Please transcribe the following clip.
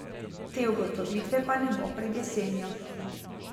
Te ugotovitve pa ne bo pred jesenjo.